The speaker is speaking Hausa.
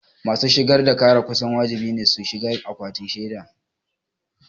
Masu shigar da ƙara kusan wajibi ne su shiga akwatin shaida.